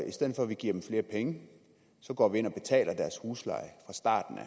i stedet for at vi giver dem flere penge går vi ind og betaler deres husleje fra starten af